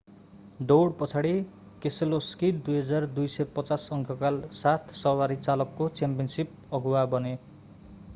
दौड पछाडि केसेलोस्की 2,250 अङ्कका साथ सवारी चालकको च्याम्पियनशिप अगुवा बने